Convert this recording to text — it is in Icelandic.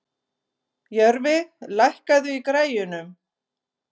Jörfi, lækkaðu í græjunum.